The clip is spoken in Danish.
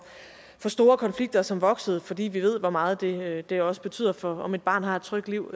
store konflikter som vokser for vi ved hvor meget det det også betyder for om et barn har et trygt liv